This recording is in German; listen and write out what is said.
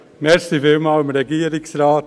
Vielen Dank dem Regierungsrat.